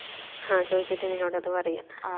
ആ ചോയിച്ചിട്ട് നിന്നോട് അത് പറയാ